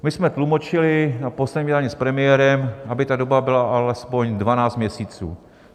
My jsme tlumočili na posledním jednání s premiérem, aby ta doba byla alespoň 12 měsíců.